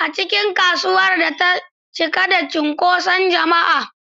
a cikin kasuwar da ta cika da cunkoson jama'a.